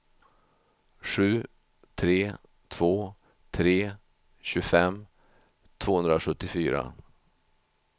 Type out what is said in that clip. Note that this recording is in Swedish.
sju tre två tre tjugofem tvåhundrasjuttiofyra